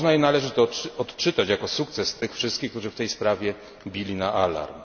Można i należy to odczytać jako sukces tych wszystkich, którzy w tej sprawie bili na alarm.